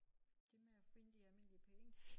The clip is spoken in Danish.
Det med at finde de almindelige penge